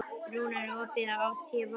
Rúnar, er opið í ÁTVR?